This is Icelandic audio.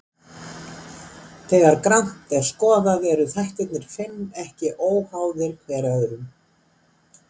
Þegar grannt er skoðað eru þættirnir fimm ekki óháðir hver öðrum.